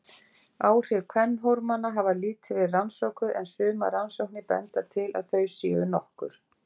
Áhrif kvenhormóna hafa lítið verið rannsökuð en sumar rannsóknir benda til að þau séu nokkur.